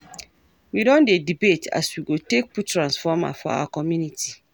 We don dey debate as we go take put transformer for our community.